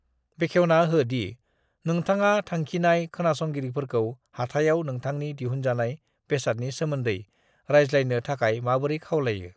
बेखेवना हो दि नोंथाङा थांखिनाय खोनासंगिरिफोरखौ हाथाइआव नोंथांनि दिहुनजानाय बेसादनि सोमोन्दै राज्लायनो थाखाय माबोरै खावलायो ।